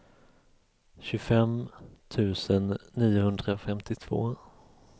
tjugofem tusen niohundrafemtiotvå